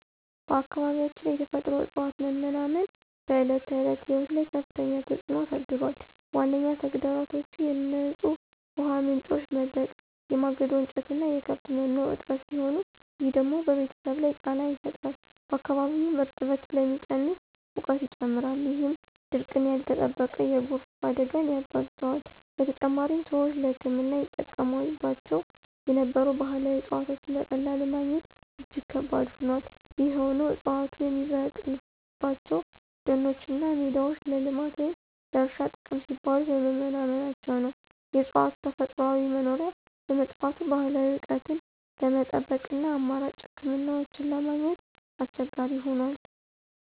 በአካባቢያችን የተፈጥሮ እፅዋት መመናመን በዕለት ተዕለት ሕይወት ላይ ከፍተኛ ተጽዕኖ አሳድሯል። ዋነኛ ተግዳሮቶቹ የንጹህ ውሃ ምንጮች መድረቅ፣ የማገዶ እንጨትና የከብት መኖ እጥረት ሲሆኑ፣ ይህ ደግሞ በቤተሰብ ላይ ጫና ይፈጥራል። በአካባቢውም እርጥበት ስለሚቀንስ ሙቀት ይጨምራል፣ ይህም ድርቅና ያልተጠበቀ የጎርፍ አደጋን ያባብሰዋል። በተጨማሪም፣ ሰዎች ለሕክምና ይጠቀሙባቸው የነበሩ ባህላዊ እፅዋትን በቀላሉ ማግኘት እጅግ ከባድ ሆኗል። ይህ የሆነው ዕፅዋቱ የሚበቅሉባቸው ደኖችና ሜዳዎች ለልማት ወይም ለእርሻ ጥቅም ሲባል በመመናመናቸው ነው። የእፅዋቱ ተፈጥሯዊ መኖሪያ በመጥፋቱ፣ ባህላዊ እውቀትን ለመጠበቅና አማራጭ ሕክምናዎችን ለማግኘት አስቸጋሪ ሆኗል።